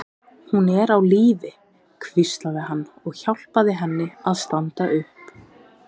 Hún er á lífi, hvíslaði hann og hjálpaði henni að standa upp.